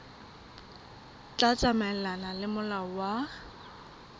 tla tsamaelana le molao wa